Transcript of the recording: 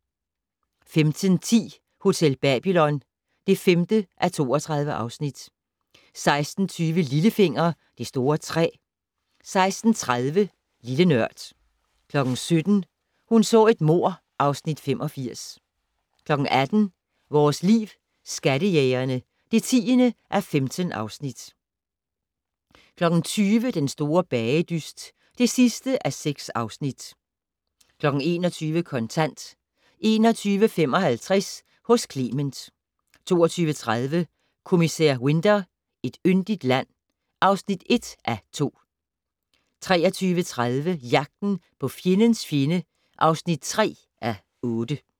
15:10: Hotel Babylon (5:32) 16:20: Lillefinger - Det store træ 16:30: Lille Nørd 17:00: Hun så et mord (Afs. 85) 18:00: Vores Liv: Skattejægerne (10:15) 20:00: Den store bagedyst (6:6) 21:00: Kontant 21:55: Hos Clement 22:30: Kommissær Winter: Et yndigt land (1:2) 23:30: Jagten på fjendens fjende (3:8)